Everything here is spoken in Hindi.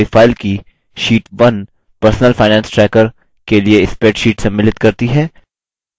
हमारी file की sheet 1 personal finance tracker के लिए spreadsheet सम्मिलित करती है